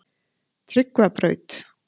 Tryggvabraut